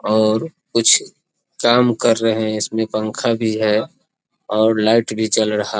और कुछ काम कर रहे हैं इसमें पंखा भी है और लाइट भी जल रहा --